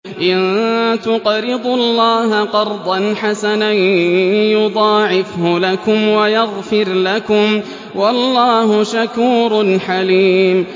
إِن تُقْرِضُوا اللَّهَ قَرْضًا حَسَنًا يُضَاعِفْهُ لَكُمْ وَيَغْفِرْ لَكُمْ ۚ وَاللَّهُ شَكُورٌ حَلِيمٌ